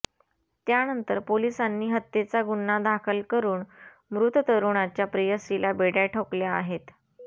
यानंतर पोलिसांनी हत्येचा गुन्हा दाखल करुन मृत तरुणाच्या प्रेयसीला बेड्या ठोकल्या आहेत